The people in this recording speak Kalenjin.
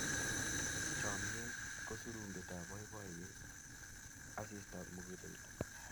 Chomnyet ko surumbetab boiboiyet, asistab muguleldo.